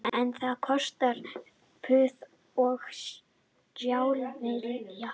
En það kostar puð og stálvilja